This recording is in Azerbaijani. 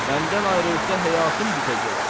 Məndən ayrılsa həyatım bitəcək.